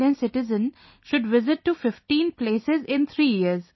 Indian citizen should visit to 15 places in 3 years